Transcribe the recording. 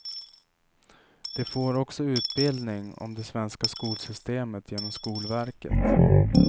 De får också utbildning om det svenska skolsystemet genom skolverket.